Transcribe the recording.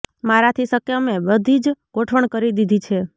મારાથી શક્ય મેં બધીજ ગોઠવણ કરી દીધી છે